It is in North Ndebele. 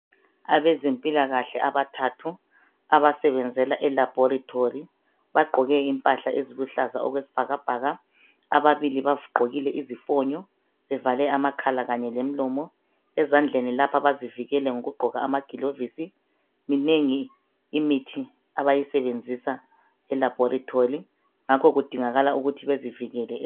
Abezempilakahle abathathu abasebenzela eLaboritory bagqoke impahla eziluhlaza okwesibhakabhaka ababili bagqokile izifonyo bevale amakhala kanye lemilomo ezandleni lapha bazivikele ngokugqoka amagilovisi minengi imithi abayisebenzisa eLaboritory ngakho kudingakala ukuthi bazivikele.